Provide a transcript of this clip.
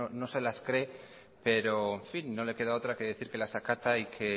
no se las cree pero en fin no le queda otra que decir que las acata y que